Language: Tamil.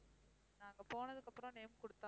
அங்க போனதுக்கப்புறம் name கொடுத்தேன்